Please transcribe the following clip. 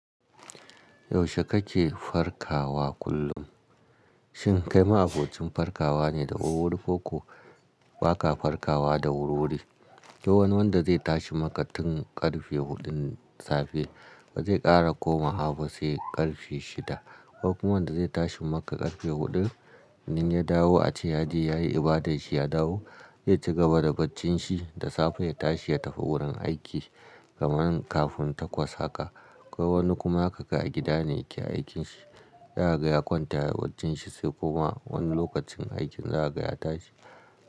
Yaushe kake farkawa kullum? Shin kai ma abocin parkawa ne da wur-wuri koko ba ka parkawa da wur-wuri? Ko wani wanda zai tashi makatun ƙarfe huɗun safe ba zai ƙara komawa ba sai ƙarfe shida. Ko kuma wanda zai tashi maka ƙarfe huɗu, idan ya dawo a ce ya je yayi ibadarshi ya dawo, zai cigaba da barcin shi da safe ya tashi ya tafi wurin aiki kamar kafin takwas haka. Ko wani kuma haka a gida ne yake aikinshi, zakaga ya kwanta yayi baccin shi sai kuma wani lokacin aikin zakaga ya tashi.